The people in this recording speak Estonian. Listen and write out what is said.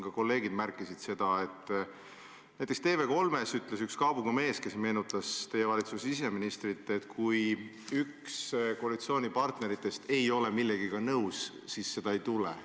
Ka kolleegid märkisid seda, et näiteks TV3-s ütles üks kaabuga mees, kes meenutas teie valitsuse siseministrit, et kui üks koalitsioonipartneritest ei ole mingi asjaga nõus, siis seda ei tule.